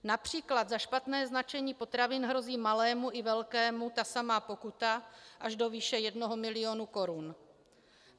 Například za špatné značení potravin hrozí malému i velkému ta samá pokuta až do výše jednoho milionu korun.